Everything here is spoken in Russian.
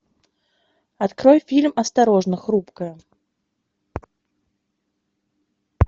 открой фильм осторожно хрупкое